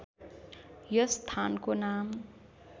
यस स्‍थानको नाम